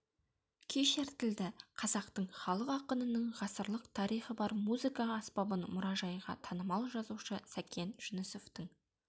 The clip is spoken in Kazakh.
күй шертілді қазақтың халық ақынының ғасырлық тарихы бар музыка аспабын мұражайға танымал жазушы сәкен жүнісовтың